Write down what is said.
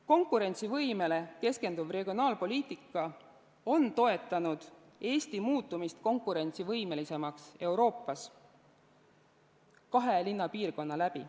Konkurentsivõimele keskenduv regionaalpoliitika on toetanud Eesti muutumist Euroopas konkurentsivõimelisemaks kahe linnapiirkonna abil.